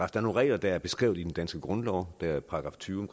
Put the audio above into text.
regler der er beskrevet i den danske grundlov der er § tyve